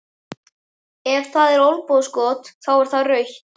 Ef það er olnbogaskot, þá er það rautt?